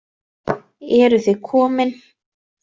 Eruð þið komin!